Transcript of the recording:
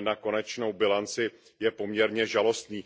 na konečnou bilanci, je poměrně žalostný.